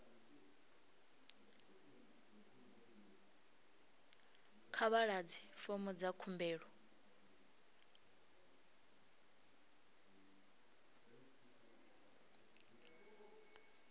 kha vha ḓadze fomo dza khumbelo